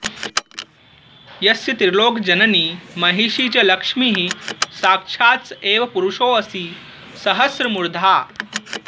यस्य त्रिलोकजननी महिषी च लक्ष्मीः साक्षात्स एव पुरुषोऽसि सहस्रमूर्धा